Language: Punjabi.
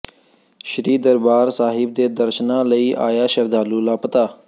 ਸ੍ਰੀ ਦਰਬਾਰ ਸਾਹਿਬ ਦੇ ਦਰਸ਼ਨਾਂ ਲਈ ਆਇਆ ਸ਼ਰਧਾਲੂ ਲਾਪਤਾ